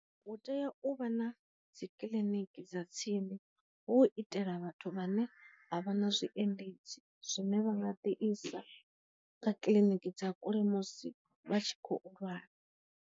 Hu tea u vha na dzi kiḽiniki dza tsini hu itela vhathu vhane vha vha na zwi endedzi zwine vha nga ḓi isa kha kiḽiniki dza kule musi vha tshi khou lwala.